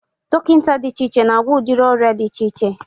Dọkịta dị iche iche na-agwọ udiri ọrịa dị iche iche